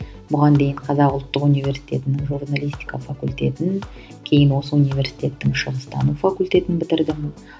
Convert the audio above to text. бұған дейін қазақ ұлттық университетінің журналистика факультетін кейін осы университеттің шығыстану факультетін бітірдім